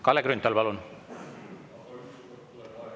Kalle Grünthal, palun!